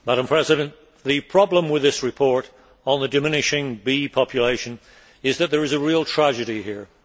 Madam President, the problem with this report on the diminishing bee population is that there is a real tragedy here.